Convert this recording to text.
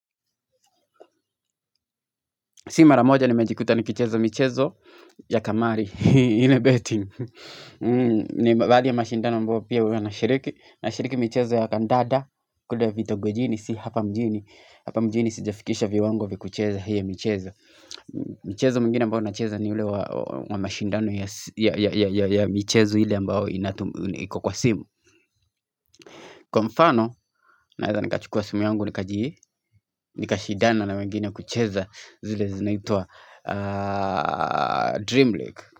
Si mara moja nimejikuta nikicheza michezo ya kamari, ile beting. Ni baadhi ya mashindano ambayo pia huwa nashiriki. Nashiriki michezo ya kandanda, kule vitogojini, si hapa mjini. Hapa mjini sijafikisha viwango vya kucheza hii michezo mchezo mwingine ambao nacheza ni ule wa mashindano ya michezo ile ambayo iko kwa simu. Kwa mfano, naeza nikachukua simu yangu nikaji, nikashindana na wengine kucheza zile zinaitwa Dream league.